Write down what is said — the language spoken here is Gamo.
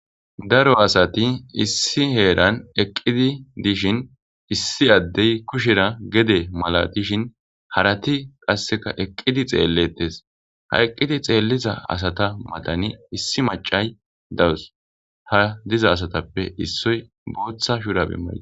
Daro asati issi heeran eqid dishin issi adey kushera gede malatishn harati qaseka eqid xeletes, ha eqidi xeliza asata matani issi mac'ayi dawusi . Ha diza asatappe issoy bootha shurabe mayides